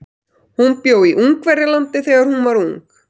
Hún bjó í Ungverjalandi þegar hún var ung.